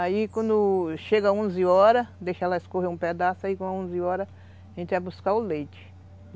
Aí quando chega onze horas, deixa ela escorrer um pedaço, aí com onze horas a gente vai buscar o leite.